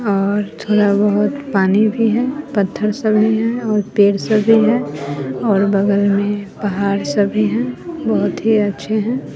और थोड़ा बहोत पानी भी है पत्थर सब भी हैं और पेड़ सब भी है और बगल में पहाड़ सब भी हैं बहोत ही अच्छे हैं।